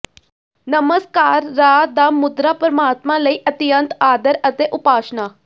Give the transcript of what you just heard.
ਨਮਸਕਾਰਰਾ ਦਾ ਮੁਦਰਾ ਪਰਮਾਤਮਾ ਲਈ ਅਤਿਅੰਤ ਆਦਰ ਅਤੇ ਉਪਾਸ਼ਨਾ